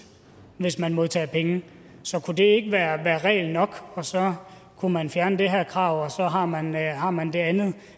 hvis man modtager penge så kunne det ikke være regel nok og så kunne man fjerne det her krav og så har man har man det andet